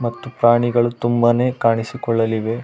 ಮತ್ತು ಪ್ರಾಣಿಗಳು ತುಂಬಾನೇ ಕಾಣಿಸಿ ಕೊಳ್ಳಲಿವೆ.